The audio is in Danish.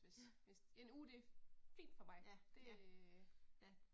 Ja. Ja ja, ja